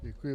Děkuji.